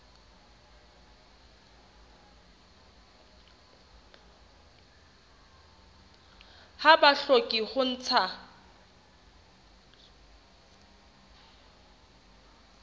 ha ba hloke ho ntsha